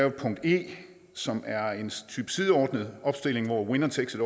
et punkt e som er en type sideordnet opstilling hvor winner takes